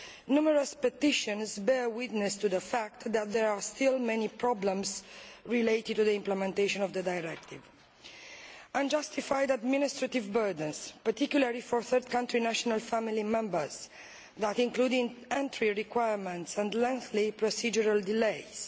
Numerous petitions bear witness to the fact that there are still many problems related to the implementation of the directive unjustified administrative burdens, particularly for third country national family members, including entry requirements and lengthy procedural delays